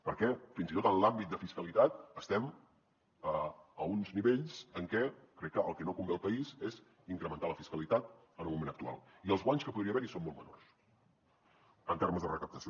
perquè fins i tot en l’àmbit de fiscalitat estem a uns nivells en què crec que el que no convé al país és incrementar la fiscalitat en el moment actual i els guanys que podria haver hi són molt menors en termes de recaptació